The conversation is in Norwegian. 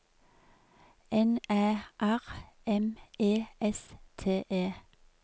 N Æ R M E S T E